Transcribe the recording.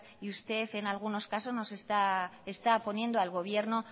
y usted en algunos casos está poniendo al gobierno